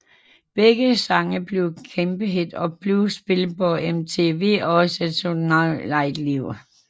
Begge sange blev kæmpehit og blev spillet på MTV og Saturday Night Live